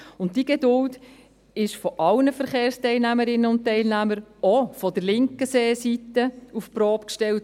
Und diese Geduld aller Verkehrsteilnehmerinnen und -teilnehmer – auch von der linken Seeseite – wurde auf die Probe gestellt.